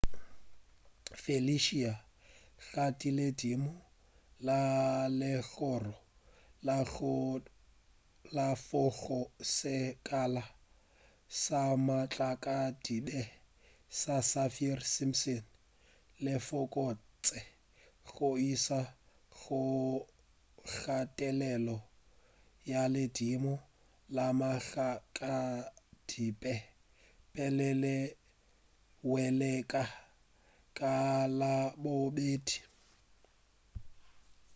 felicia ga tee ledimo la legoro la 4 go sekala sa matlakadibe sa saffir-simpson le fokotše go iša go kgathelelo ya ledimo la matlakadibe pele le hwelela ka labobedi